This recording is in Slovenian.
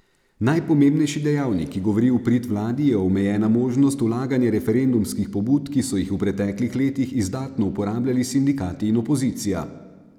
Najpomembnejši dejavnik, ki govori v prid vladi, je omejena možnost vlaganja referendumskih pobud, ki so jih v preteklih letih izdatno uporabljali sindikati in opozicija.